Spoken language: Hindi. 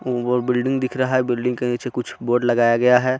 और बिल्डिंग दिख रहा है बिल्डिंग के नीचे कुछ बोर्ड लगाया गया है।